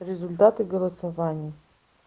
результаты голосования